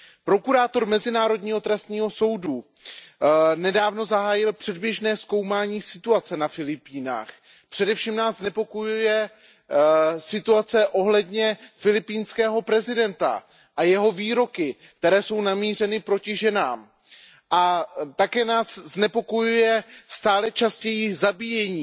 Prokurátor mezinárodního trestního soudu nedávno zahájil předběžné zkoumání situace na Filipínách. Především nás znepokojuje situace ohledně filipínského prezidenta a jeho výroky, které jsou namířeny proti ženám. A také nás znepokojuje stále častější zabíjení,